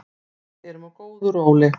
Við erum á góðu róli